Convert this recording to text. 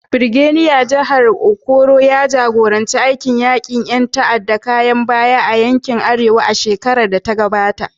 Birgediya Janar Okoro ya jagoranci aikin yaƙi da ƴan tada ƙayar baya a yankin Arewa a shekarar da ta gabata.